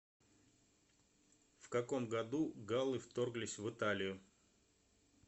в каком году галлы вторглись в италию